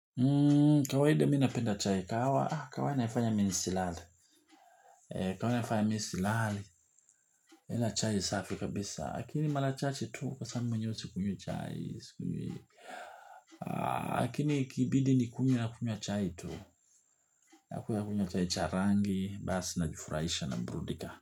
Kawaida mimi napenda chai, kahawa kahawa ni ya kunifanya mimi nisilale kahawa ni ya kinifanya mimi nisilale napenda chai safi kabisa. Lakini ni mara chache tu hasa mimi mwenyewe sikunywi chai sikunywi lakini ikibidi nikunywe nakunywa chai tu. Hakuna kunywa chai cha rangi, basi najifurahisha naburudika.